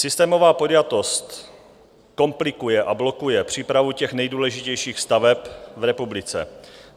Systémová podjatost komplikuje a blokuje přípravu těch nejdůležitějších staveb v republice.